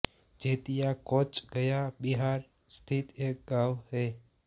जैतिया कोंच गया बिहार स्थित एक गाँव है